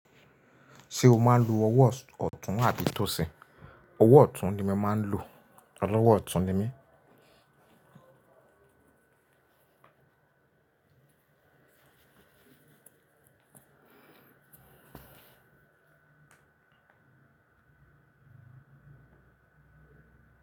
Ṣé o máa ń lo ọwọ́ ọ̀tún abi tòsì? Ọwọ́ ọ̀tún ni mo màá ń lò. Ọlọwọ ọ̀tún ni mí.